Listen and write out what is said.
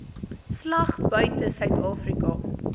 slag buite suidafrika